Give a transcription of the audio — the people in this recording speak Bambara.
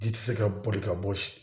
Ji tɛ se ka boli ka bɔ si